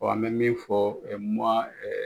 an bɛ min fɔ .